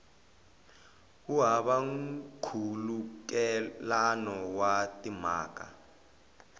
wu hava nkhulukelano wa timhaka